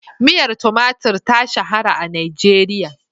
Miyar tumatur ta shahara a Najeriya.